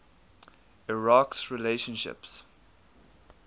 iraq s relationships